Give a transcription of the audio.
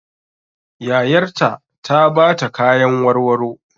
Yayar ta ta ba ta kyatan warwaro.